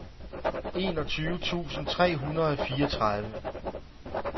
enogtyve tusind tre hundrede og fireogtredive